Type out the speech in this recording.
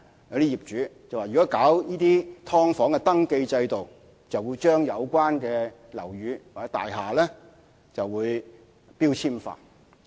有些業主更說，如果推行"劏房"登記制度，就會將有關的樓宇或大廈標籤化。